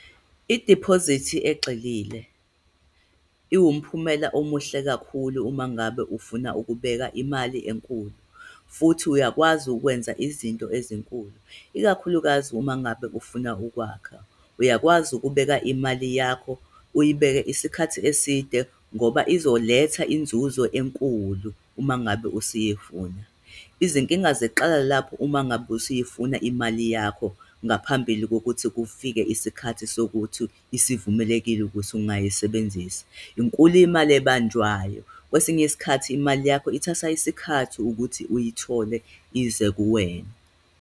I-deposit egxilile iwumphumela omuhle kakhulu uma ngabe ufuna ukubeka imali enkulu, futhi uyakwazi ukwenza izinto ezinkulu, ikakhulukazi uma ngabe ufuna ukwakha, uyakwazi ukubeka imali yakho, uyibeke isikhathi eside, ngoba izoletha inzuzo enkulu, uma ngabe usuyifuna. Izinkinga ziqala lapho uma ngabe usuyifuna imali yakho ngaphambili kokuthi kufike isikhathi sokuthi isivumelekile ukuthi ungayisebenzisa. Inkulu imali ebanjwayo. Kwesinye isikhathi imali yakho ithatha isikhathi ukuthi uyithole, ize kuwena.